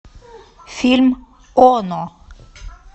фильм оно